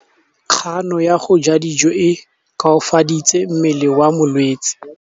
Kganô ya go ja dijo e koafaditse mmele wa molwetse.